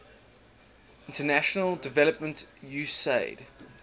international development usaid